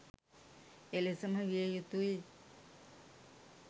එලෙසම විය යුතුයි.